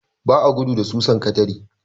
Ba a gudu da susan katare.